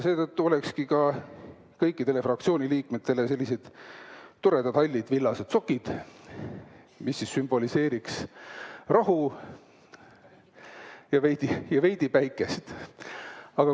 Seetõttu olekski kõikidele fraktsiooni liikmetele sellised toredad hallid villased sokid, mis sümboliseerivad rahu ja ehk veidi-veidi päikest.